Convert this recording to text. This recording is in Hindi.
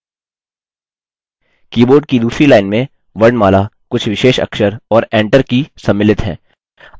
कीबोर्ड की दूसरी लाइन में वर्णमाला कुछ विशेष अक्षर और enter की सम्मिलित हैं